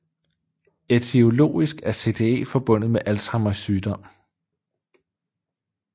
Ætiologisk er CTE forbundet med Alzheimers sygdom